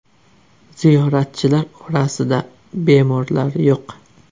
Ziyoratchilar orasida bemorlar yo‘q.